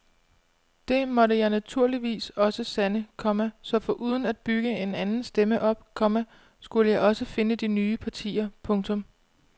Det måtte jeg naturligvis også sande, komma så foruden at bygge en anden stemme op, komma skulle jeg også finde nye partier. punktum